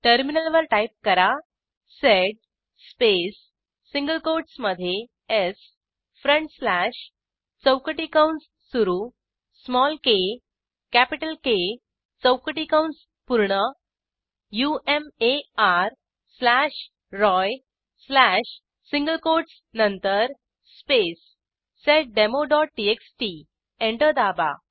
टर्मिनलवर टाईप करा sed space single कोटसमधे स् फ्रंट स्लॅश चौकटी कंस सुरू स्मॉल के कॅपिटल के चौकटी कंस पूर्ण Umar slash Roy slash single quotes नंतर स्पेस seddemoटीएक्सटी एंटर दाबा